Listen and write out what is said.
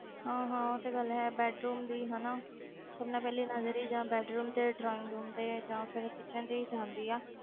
ਹਾਂ ਹਾਂ ਉਹ ਤੇ ਗੱਲ ਹੈ bedroom ਦੀ ਹਨਾ ਸਭ ਨਾਲੋਂ ਪਹਿਲੀ ਨਜ਼ਰ ਹੀ ਜਾਂ bedroom ਤੇ drawing room ਤੇ ਜਾਂ ਫਿਰ kitchen ਤੇ ਹੀ ਜਾਂਦੀ ਹੈ